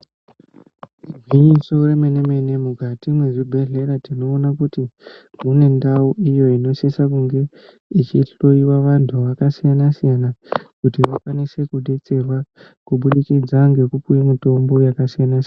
Igwinyiso remenemene mukati mwezvibhehlera tinoona kuti mune ndau iyo inosisa kunge ichihloyiwa vanhu vakasiyanasiyana kuti vakwanise kudetserwa kubudikidza ngekupuwe mitombo yakasiyanasiyana.